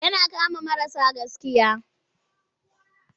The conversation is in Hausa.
Yana kama marasa gaskiya.